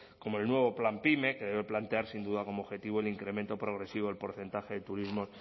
como el nuevo plan pime que debe plantear sin duda como objetivo el incremento progresivo el porcentaje de turismos